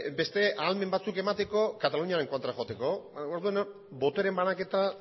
beste ahalmen batzuk emateko kataluniaren kontra joateko orduan botere banaketa